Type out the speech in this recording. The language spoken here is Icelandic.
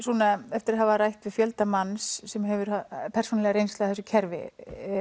eftir að hafa rætt við fjölda manns sem hafa persónulega reynslu af þessu kerfi